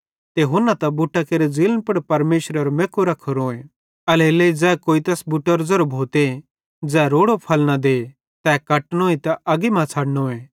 ते हुन्ना त बुट्टां केरे ज़ीलन पुड़ परमेशरेरो मैक्कु रख्खोरोए एल्हेरेलेइ ज़ै कोई तैस बुट्टेरो ज़ेरो भोते ज़ै रोड़ो फल न दे तै कटनोए ते अग्गी मां छ़डनोए